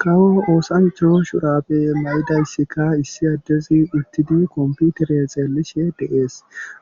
Kawo oosancha shurabe mayidayssikka issi addezi utidi kompitire xeelishe de'ees.